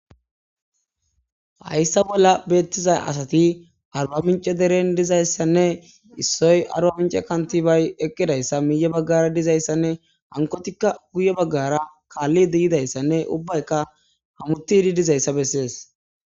hayssa bolla beettiza asati arba mince deren dizayssanne issoy arwa mince kantibay eqqidayssa miiye baggara dizayssanne hankotikka guye baggara kaalli diyidayssanne ubbaykka hamutidi dizayssa bessees